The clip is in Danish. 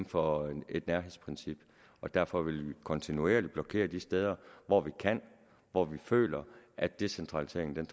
for et nærhedsprincip og derfor vil vi kontinuerligt blokere de steder hvor vi kan hvor vi føler at decentraliseringen